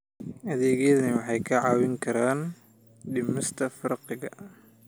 Adeegyadani waxay kaa caawin karaan dhimista faqriga.